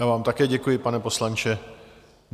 Já vám také děkuji, pane poslanče.